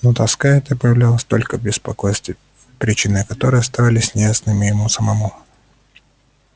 но тоска эта проявлялась только в беспокойстве причины которого оставались неясными ему самому